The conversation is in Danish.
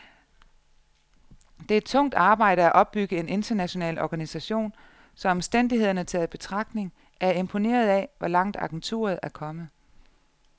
Det er tungt arbejde at opbygge en international organisation, så omstændighederne taget i betragtning er jeg imponeret af, hvor langt agenturet er kommet.